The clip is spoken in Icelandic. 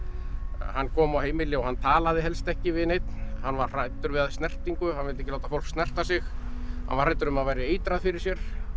hann kom á heimili og hann talaði helst ekki við neinn hann var hræddur við snertingu hann vildi ekki láta fólk snerta sig hann var hræddur um að það væri eitrað fyrir sér